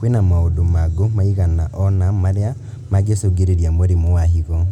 Kwĩna maũndũ mangũ maigana ona marĩa mangĩcũngĩria mũrimũ wa higo